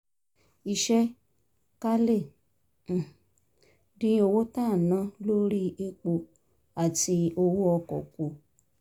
iṣẹ́ ká lè um dín owó tá à ń ná lórí epo àti owó ọkọ̀ kù